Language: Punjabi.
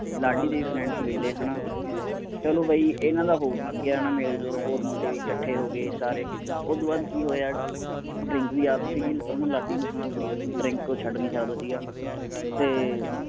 ਲਾਡੀ ਦੇ ਵੀ friends ਵੇਲੇ ਹੈ ਨਾ, ਚਲੋ ਬਈ ਇਨ੍ਹਾਂ ਦਾ ਹੋਰ ਵੱਧ ਗਿਆ ਮੇਲ ਜੋਲ ਹੋਰ ਮੁੰਡੇ ਵੀ ਇੱਕਠੇ ਹੋ ਗਏ ਸਾਰੇ ਉਸਤੋਂ ਬਾਅਦ ਕੀ ਹੋਇਆ drink ਵੀ ਆਪਸੀ ਓਹਨੂੰ ਲਾਡੀ ਨੂੰ ਹਾਂ drink ਉਹ ਛੱਡ ਨਹੀਂ ਸਕਦਾ ਸੀਗਾ। ਤੇ